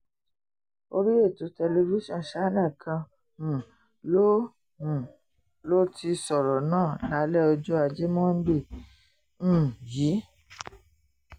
orí ètò tẹlifíṣàn channels kan um ló um ló ti sọ̀rọ̀ náà lálẹ́ ọjọ́ ajé monde um yìí